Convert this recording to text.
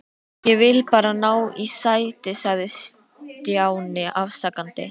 Ég vildi bara ná í sæti sagði Stjáni afsakandi.